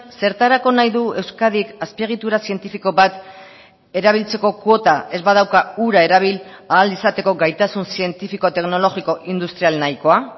zertarako nahi du euskadik azpiegitura zientifiko bat erabiltzeko kuota ez badauka hura erabil ahal izateko gaitasun zientifiko teknologiko industrial nahikoa